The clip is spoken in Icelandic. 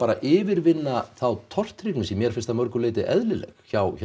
að yfirvinna þá tortryggni sem mér finnst að mörgu leyti eðlileg hjá